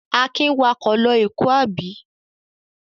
Akin wakọ̀ lọ Èkó, àbí?